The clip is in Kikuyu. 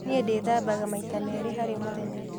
Nĩi ndĩthambaga maita merĩ harĩ mũthenya.